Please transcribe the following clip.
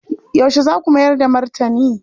Yaushe za ku mayar da martani?